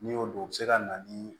N'i y'o dɔn o bɛ se ka na ni